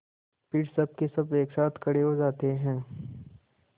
फिर सबकेसब एक साथ खड़े हो जाते हैं